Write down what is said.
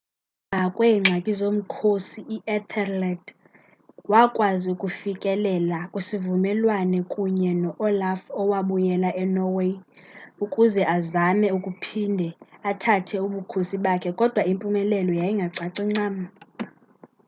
emva kweengxaki zomkhosi u-ethelred wakwazi ukufikelela kwisivumelwano kunye no-olaf owabuyela enorway ukuze azame ukuphinde athathe ubukhosi bakhe kodwa impumelelo yayingacaci ncam